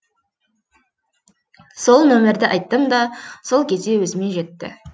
сол номерді айттым да сол кезде өзіме жетті